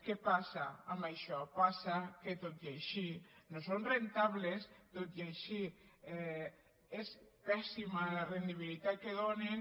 què passa amb això passa que tot i així no són rendibles tot i així és pèssima la rendibilitat que donen